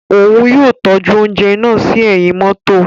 Òún yóò tọju ounjẹ náà sí ẹhin mọto